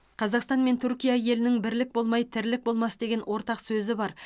қазақстан мен түркия елінің бірлік болмай тірлік болмас деген ортақ сөзі бар